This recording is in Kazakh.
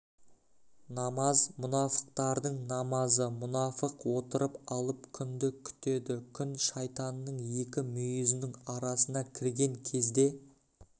намаз мұнафықтардың намазы мұнафық отырып алып күнді күтеді күн шайтанның екі мүйізінің арасына кірген кезде